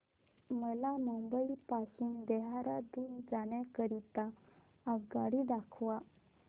मला मुंबई पासून देहारादून जाण्या करीता आगगाडी दाखवा